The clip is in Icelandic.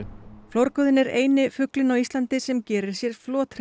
flórgoðinn er eini fuglinn á Íslandi sem gerir sér